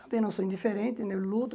Também não sou indiferente, né luto.